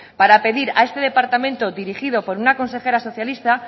para pedir a este departamento dirigió por una consejera socialista